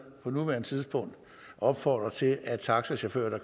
på nuværende tidspunkt opfordre til at taxachauffører der